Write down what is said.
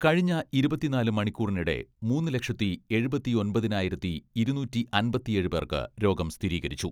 കഴിഞ്ഞ ഇരുപത്തിനാല് മണിക്കൂറിനിടെ മൂന്ന് ലക്ഷത്തി എഴുപത്തിയൊമ്പതിനായിരത്തി ഇരുന്നൂറ്റിയമ്പത്തിയേഴ് പേർക്ക് രോഗം സ്ഥിരീകരിച്ചു.